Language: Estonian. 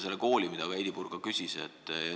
Võtame kooli, mille kohta Heidy Purga küsis.